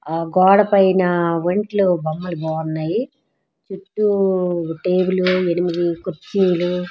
గోడ పైన ఇంట్లో బొమ్మలు బాగున్నాయి. చుట్టూ టేబుల్ ఎనిమిది కుర్చీలు ఆ గొడుపైన ఇంట్లో బొమ్మలు బాగున్నాయి.